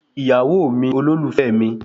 Ìyàwó mi, olólùfẹ́ mi